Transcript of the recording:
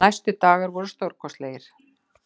Næstu dagar voru stórkostlegir.